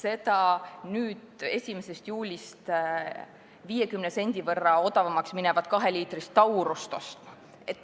seda 1. juulist 50 sendi võrra odavamaks minevat kaheliitrist Taurust ostma.